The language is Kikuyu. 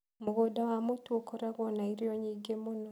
Mũgũnda wa mũtu ũkoragwo na irio nyingĩ mũno.